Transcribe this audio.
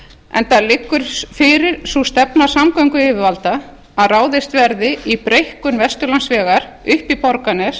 enda liggur fyrir sú stefna samgönguyfirvalda að ráðist verði í breikkun vesturlandsvegar upp í borgarnes